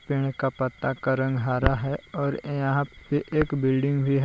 पेड़ का पत्ता का रंग हरा है और यहां पे एक बिल्डिंग भी है।